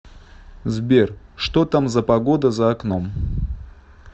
сбер что там за погода за окном